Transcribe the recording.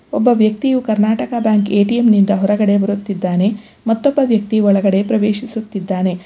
ಒಬ್ಬ ವ್ಯಕ್ತಿಯು Karnataka bank ATM ನಿಂದ ಹೊರಗಡೆ ಬರುತ್ತಿದ್ದಾನೆ ಮತ್ತೊಬ್ಬ ವ್ಯಕ್ತಿ ಒಳಗಡೆ ಪ್ರವೇಶಿಸುತ್ತಿದ್ದಾನೆ.